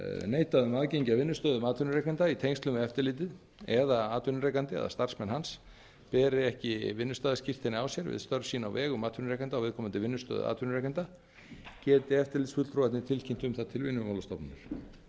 neitað um aðgengi að vinnustöðum atvinnurekanda í tengslum við eftirlitið eða atvinnurekandi eða starfsmenn hans beri ekki vinnustaðaskírteini á sér við störf sín á vegum atvinnurekanda á viðkomandi vinnustað atvinnurekanda geti eftirlitsfulltrúarnir tilkynnt um það til vinnumálastofnunar